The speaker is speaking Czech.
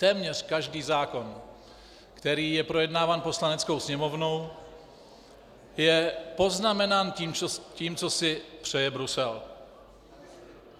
Téměř každý zákon, který je projednáván Poslaneckou sněmovnou, je poznamenán tím, co si přeje Brusel.